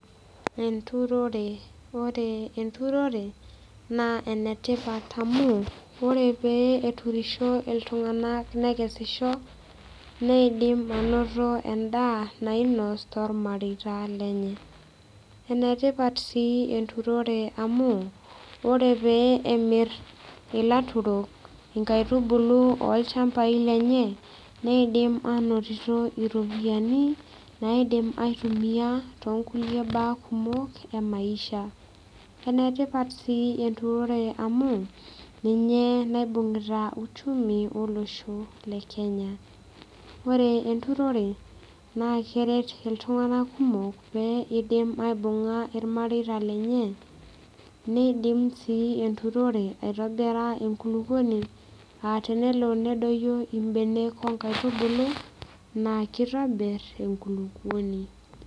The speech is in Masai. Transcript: Enturore ore enturore naa enetipat amu ore pee eturisho iltung'anak nekesisho neidim anoto endaa nainos tormareita lenye enetipat sii enturore amu ore pee emirr ilaturok inkaitubulu olchambai lenye neidim anotito iropiyiani naidim aitumia tonkulie baa kumok emaisha enetipat sii enturore amu ninye naibung'ita uchumi olosho le kenya ore enturore naa keret iltung'anak kumok pee idim aibung'a irmareita lenye neidim sii enturore aitobira enkulukuoni atenelo nedoyio imbenek onkaitubulu naa kitobirr enkulupuoni.